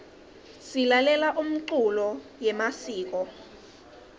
silalela umculo yemasiko